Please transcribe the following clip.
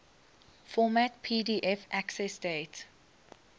format pdf accessdate